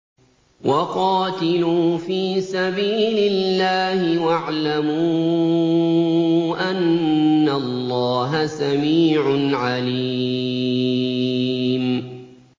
وَقَاتِلُوا فِي سَبِيلِ اللَّهِ وَاعْلَمُوا أَنَّ اللَّهَ سَمِيعٌ عَلِيمٌ